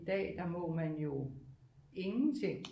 I dag der må man jo ingenting